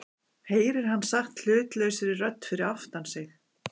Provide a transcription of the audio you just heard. heyrir hann sagt hlutlausri rödd fyrir aftan sig.